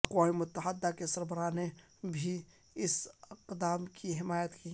اقوام متحدہ کے سربراہ نے بھی اس اقدام کی حمایت کی